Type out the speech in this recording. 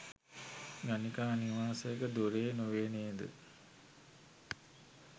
ගණිකා නිවාසයක දොරේ නොවේ නේද?